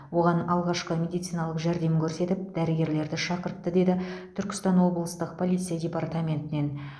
оған алғашқы медициналық жәрдем көрсетіп дәрігерлерді шақыртты деді түркістан облыстық полиция департаментінен